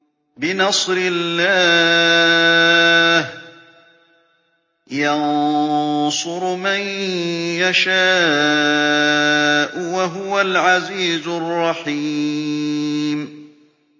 بِنَصْرِ اللَّهِ ۚ يَنصُرُ مَن يَشَاءُ ۖ وَهُوَ الْعَزِيزُ الرَّحِيمُ